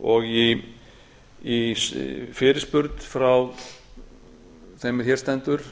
og í fyrirspurn frá þeim er hér stendur